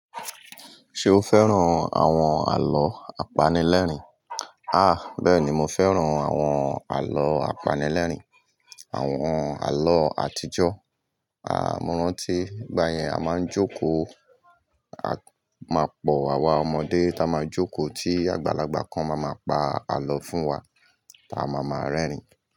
Ṣé o fẹ́ràn àwọn àlọ́ apanilẹ́rìn? Ah! Bẹ́ẹ̀ni mo fẹ́ràn àwọn àlọ́ apanilẹ́rìń, àwọn àlọ́ àtijọ́. Mo rántí ìgbà yẹn a máa ń jókòó, a máa pọ̀ àwa ọmọdé ta máa jókòó tí àgbàlagbà kan ma máa pa àlọ́ fún wa, ta máa máa rẹ́rìn-ín.